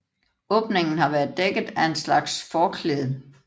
Åbningen har været dækket af en slags forklæde